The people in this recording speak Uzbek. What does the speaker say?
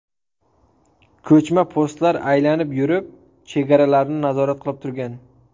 Ko‘chma postlar aylanib yurib, chegaralarni nazorat qilib turgan.